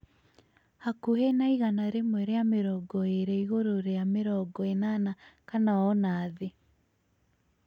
hakuhĩ na igana rĩmwe rĩa mĩrongo ĩĩrĩ igũrũ rĩa mĩrongo ĩnana kana ona thĩ